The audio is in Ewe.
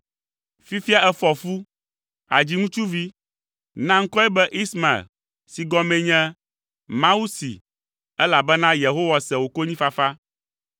Fifia, èfɔ fu; àdzi ŋutsuvi. Na ŋkɔe be Ismael, si gɔmee nye, ‘Mawu see,’ elabena Yehowa se wò konyifafa.